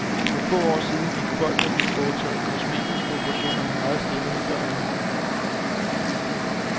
For få år siden gik folk, der fik foretaget kosmetiske operationer, meget stille med dørene.